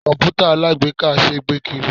Komputa alagbeeka ṣé gbé kiri.